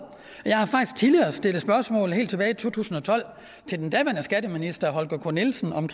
jeg har faktisk tidligere stillet spørgsmål helt tilbage i to tusind og tolv til den daværende skatteminister holger k nielsen om